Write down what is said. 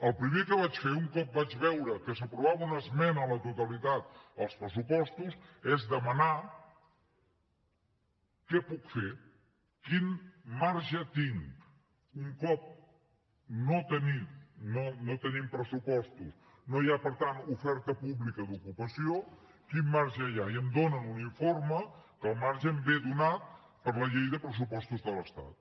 el primer que vaig fer un cop vaig veure que s’aprovava una esmena a la totalitat als pressupostos va ser demanar què puc fer quin marge tinc un cop no tenim pressupostos no hi ha per tant oferta pública d’ocupació quin marge hi ha i em donen un informe en què el marge em ve donat per la llei de pressupostos de l’estat